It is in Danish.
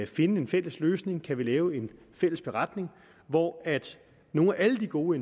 finde en fælles løsning kan vi lave en fælles beretning hvor nogle af alle de gode